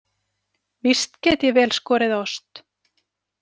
Víst get ég vel skorið ost.